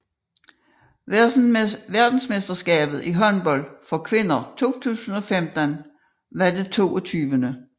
Verdensmesterskabet i håndbold for kvinder 2015 var det 22